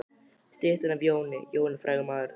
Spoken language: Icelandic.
Styttan er af Jóni. Jón er frægur maður.